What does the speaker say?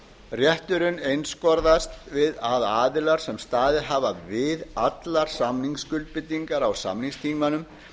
rétturinn einskorðast við að aðilar sem staðið hafa við allar samningsskuldbindingar á samningstímanum